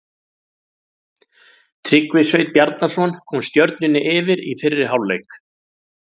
Tryggvi Sveinn Bjarnason kom Stjörnunni yfir í fyrri hálfleik.